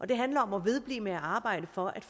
det handler om at vedblive med at arbejde for at